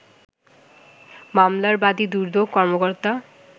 মামলার বাদি দুদক কর্মকর্তা